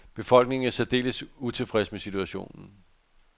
Befolkningen er særdeles utilfreds med situationen.